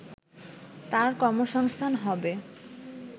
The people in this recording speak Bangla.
তার কর্মসংস্থান হবে